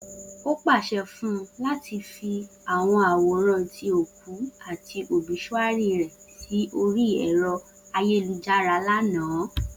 O paṣẹ fun u lati fi awọn aworan ti o ku ati obisuary rẹ si ori ero ayelujara lana!